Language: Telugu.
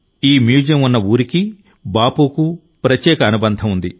ఈ మ్యూజియం ఉన్న ఊరికి బాపుకు ప్రత్యేక అనుబంధం ఉంది